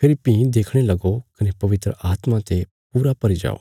फेरी भीं देखणे लगो कने पवित्र आत्मा ते पूरा भरी जाओ